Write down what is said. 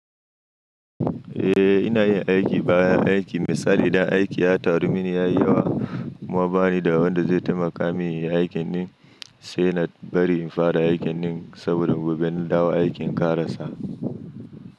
Eh, ina yin aiki baya aiki. Misali idan aiki ya taru mini ya yi yawa kuma bani da wanda zai taimaka min inyi aikin din sai na bari in fara aikin din saboda gobe na dawo aikin ka rasa.